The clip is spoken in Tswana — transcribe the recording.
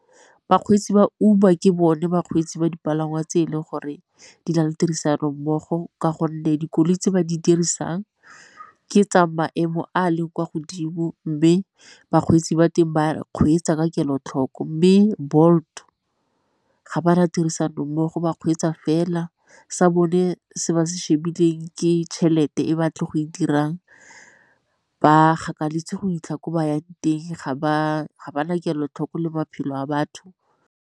Bakgweetsi ba Uber ke bone bakgweetsi ba dipalangwa tse e leng gore di na le tirisano mmogo ka gonne dikoloi tse ba di dirisang ke tsa maemo a leng kwa godimo, mme bakgweetsi ba teng ba kgweetsa ka kelotlhoko. Mme Bolt ga ba na tirisanommogo ba kgweetsa fela, sa bone se ba se shebileng ke tšhelete e ba tlo go e dirang. Ba gakaletsa go 'itlha ko ba yang teng, ga ba na kelotlhoko le maphelo a batho.